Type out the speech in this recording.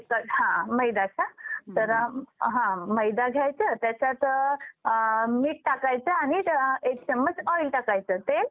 कि ह्यामध्ये नीट तुम्ही गोष्टी लक्षात घेतल्या असेल. कि main leg जो असतो at the money तो sell करायचा. त्याला मी इथे आता दोनशे point खालचा जो असणार leg तो buy करायचा. Value जी असणार ती main leg ची जास्त हवी.